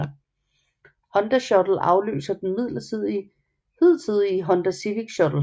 Honda Shuttle afløser den hidtidige Honda Civic Shuttle